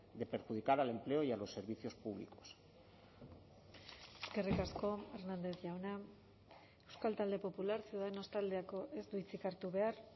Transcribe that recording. de perjudicar al empleo y a los servicios públicos eskerrik asko hernández jauna euskal talde popular ciudadanos taldeko ez du hitzik hartu behar